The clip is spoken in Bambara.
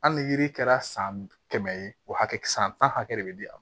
Hali ni yiri kɛra san kɛmɛ ye o hakɛ san tan hakɛ de bɛ di an ma